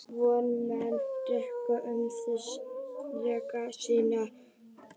Vondir menn drekka um síðir dreggjar sínar.